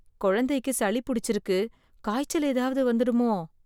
குழந்தைக்கு சளி புடிச்சிருக்கு காய்ச்சல் ஏதாவது வந்துடுமோ?